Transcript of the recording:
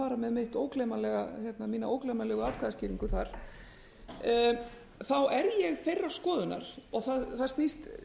að fara með mína ógleymanlegu atkvæðaskýringu þar þá er ég þeirrar skoðunar og það snýst